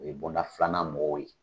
O ye bɔnda filanan mɔgɔw ye.